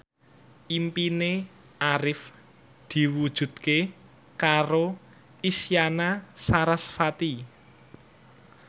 impine Arif diwujudke karo Isyana Sarasvati